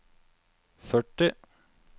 førti